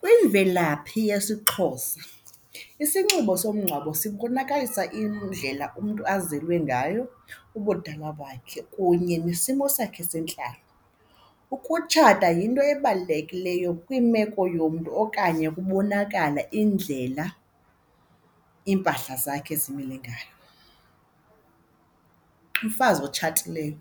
Kwimvelaphi yesiXhosa isinxibo somngcwabo sibonakalisa indlela umntu azile ngayo, ubudala bakhe kunye nesimo sakhe sentlalo. Ukutshata yinto ebalulekileyo kwimeko yomntu okanye kubonakala indlela iimpahla zakhe zimile ngayo. Umfazi otshatileyo